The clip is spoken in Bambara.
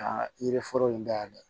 Ka yiri foro in dayɛlɛ